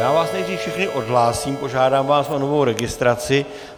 Já vás nejdřív všechny odhlásím, požádám vás o novou registraci.